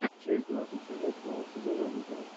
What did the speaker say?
часть двадцать семь восьмого сезона лузеры